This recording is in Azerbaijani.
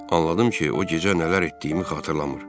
Anladım ki, o gecə nələr etdiyimi xatırlamır.